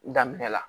Daminɛna